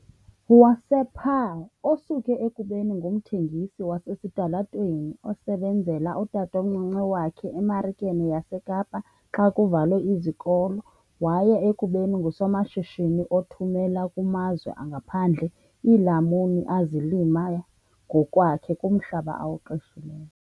wasePaarl, osuke ekubeni ngumthengisi wasesitalatweni osebenzela utatomncinci wakhe eMarikeni yaseKapa xa kuvalwe izikolo waya ekubeni ngusomashishini othumela kumazwe angaphandle iilamuni azilima ngokwakhe kumhlaba awuqeshileyo.